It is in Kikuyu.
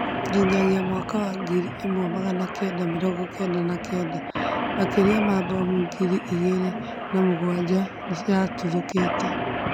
nginyagia mwaka wa ngiri ĩmwe magana kenda mĩrongo kenda na kenda ,makĩria ma mabomu ngiri ĩgiri na mũgwaja nĩyathũ kitwe